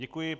Děkuji.